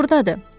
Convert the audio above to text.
O burdadır.